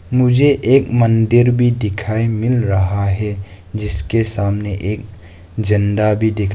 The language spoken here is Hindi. मुझे एक मंदिर भी दिखाई मिल रहा है जिसके सामने एक झंडा भी दिख--